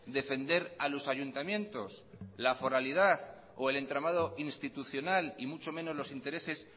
defender a los ayuntamientos la foralidad o el entramado institucional y mucho menos los intereses